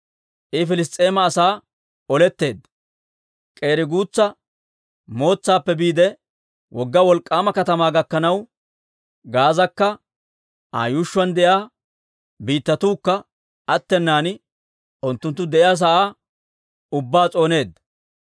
I Piliss's'eema asaanna oleteedda; k'eri guutsa mootsaappe biide, wogga wolk'k'aama katamaa gakkanaw, Gaazaakka Aa yuushshuwaan de'iyaa biittatuukka attenan unttunttu de'iyaa sa'aa ubbaa s'ooneedda.